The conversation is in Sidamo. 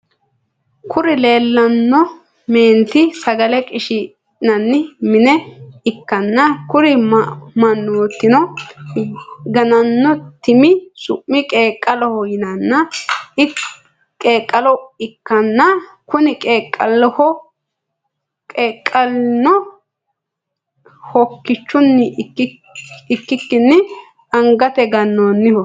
Kuri lelano menitti sagale qishshinanni mine ikana kuri manotino ganinno timmi su’m qeqqaloho yinaniha ikana kuni qeqqlino hookichunni ikikini anigatte gananniho.